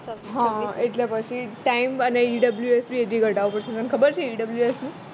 હા એટલે પછી time અને EWF તને ખબર છે EWF નું